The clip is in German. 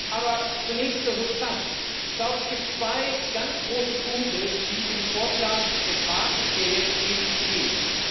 Aber zunächst zur Substanz Ich glaube, es gibt zwei ganz große Punkte, die im Vorschlag des Rates, wie er jetzt steht, nicht gehen.